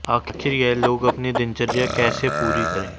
आखिर यह लोग अपनी दिनचर्या कैसे पूरी करें